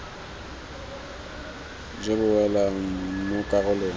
jo bo welang mo karolong